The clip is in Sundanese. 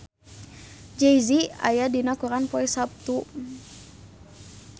Jay Z aya dina koran poe Saptu